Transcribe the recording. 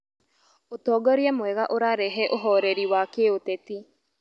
Ũtongoria mwega ũrarehe ũhoreri wa kĩũteti